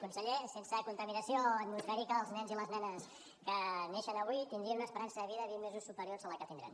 conseller sense contaminació atmosfèrica els nens i les nenes que neixen avui tindrien una esperança de vida vint mesos superior a la que tindran